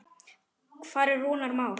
Hvar er Rúnar Már?